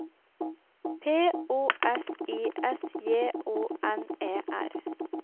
P O S I S J O N E R